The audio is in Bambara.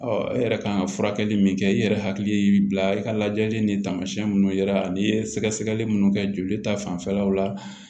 e yɛrɛ kan ka furakɛli min kɛ i yɛrɛ hakili y'i bila i ka lajɛli ni taamasiyɛn minnu yera n'i ye sɛgɛsɛgɛli minnu kɛ joli ta fanfɛlaw la